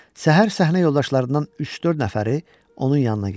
Səhər səhnə yoldaşlarından üç-dörd nəfəri onun yanına gəldi.